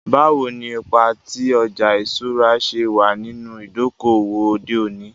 Bawo ni ipa ti ọja iṣura ṣe wa ninu idoko-owo ode oni?